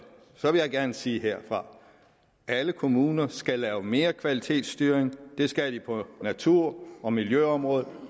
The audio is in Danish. gerne sige herfra alle kommuner skal lave mere kvalitetsstyring det skal de på natur og miljøområdet